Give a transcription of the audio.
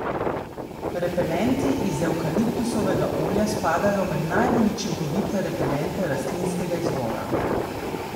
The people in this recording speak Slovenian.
Repelenti iz evkaliptusovega olja spadajo med najbolj učinkovite repelente rastlinskega izvora.